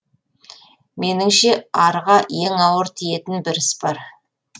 меніңше арға ең ауыр тиетін бір іс бар